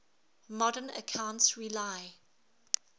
modern accounts rely